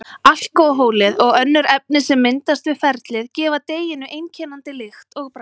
Alkóhólið og önnur efni sem myndast við ferlið gefa deiginu einkennandi lykt og bragð.